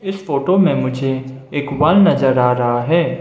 इस फोटो मे मुझे एक वॉल नजर आ रहा है।